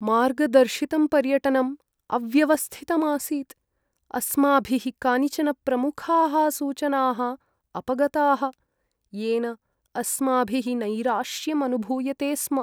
मार्गदर्शितं पर्यटनम् अव्यवस्थितम् आसीत्, अस्माभिः कानिचन प्रमुखाः सूचनाः अपगताः येन अस्माभिः नैराश्यम् अनुभूयते स्म।